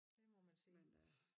Det må man sige